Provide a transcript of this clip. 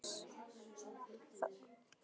Það er ég líka, sagði Elías.